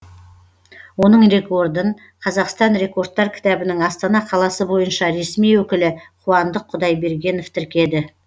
оның рекордын қазақстан рекордтар кітабының астана қаласы бойынша ресми өкілі қуандық құдайбергенов тіркеді